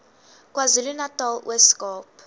kwazulunatal ooskaap